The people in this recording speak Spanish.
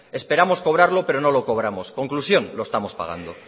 esperamos cobrarlo pero no lo cobramos conclusión lo estamos pagando